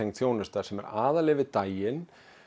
þjónusta sem er aðallega yfir daginn